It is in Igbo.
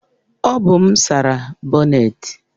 Ọ bụ m sara bonnet